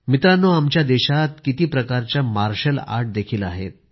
मित्रांनो आमच्या देशात किती प्रकारचे मार्शल आर्ट आहे